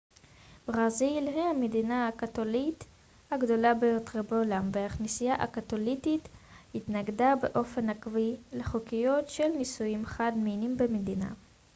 ברזיל היא המדינה הקתולית הגדולה ביותר בעולם והכנסייה הקתולית התנגדה באופן עקבי לחוקיות של נישואים חד-מיניים במדינה